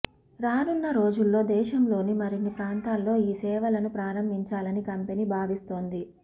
రానున్న రోజుల్లో దేశంలోని మరిన్ని ప్రాంతాల్లో ఈ సేవలను ప్రారంభించాలని కంపెనీ భావిస్తోంది